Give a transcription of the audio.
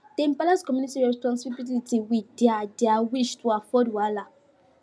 dem balance community responsibility with their their wish to avoid wahala